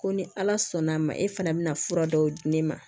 Ko ni ala sɔnn'a ma e fana bɛna fura dɔw di ne ma